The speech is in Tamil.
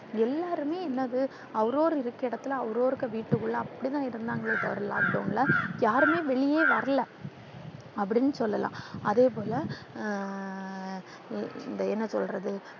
எல்லாருமே என்னது அவுரவுறு இருக்கிற இடத்தில அவுரவுறு இருக்க வீட்டுக்குள்ள அப்பிடிதான் இருந்தாங்க எல்லாம் lockdown ல யாருமே வெளில வரல அப்பிடினு சொல்லலாம். அதேபோல ஆஹ் இந்த என்ன சொல்றது